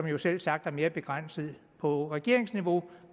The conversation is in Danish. jo selvsagt er mere begrænset på regeringsniveau